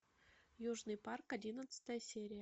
южный парк одиннадцатая серия